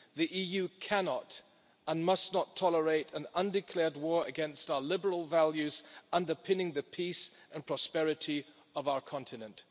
The EU cannot, and must not, tolerate an undeclared war against our liberal values underpinning the peace and prosperity of our continent.